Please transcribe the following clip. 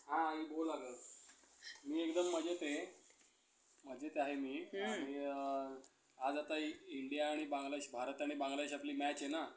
खर तर प्रत्येक प्रकारच्या प्रदूषणाचा आपल्यावर काही ना कोणत्या प्रकारे परिणाम होतो. समाजातील विकास माणसासाठी आवश्यक आहे. परंतु